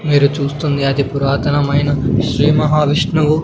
మీరు చూస్తుంది అది పురాతనమైన శ్రీమహావిష్ణువు.